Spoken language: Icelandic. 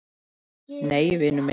Nei, vinur minn!